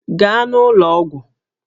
Gaa n'ụlọ ọgwụ!